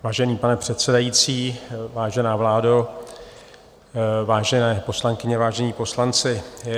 Vážený pane předsedající, vážená vládo, vážené poslankyně, vážení poslanci.